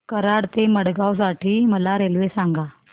कराड ते मडगाव साठी मला रेल्वे सांगा